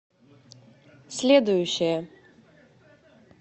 следующая